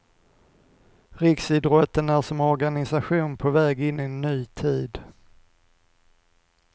Riksidrotten är som organisation på väg in i en ny tid.